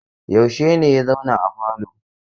Yaushe ne ya zauna a falo?